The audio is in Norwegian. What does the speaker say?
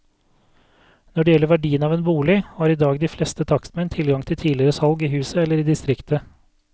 Når det gjelder verdiene av en bolig, har i dag de fleste takstmenn tilgang til tidligere salg i huset eller i distriktet.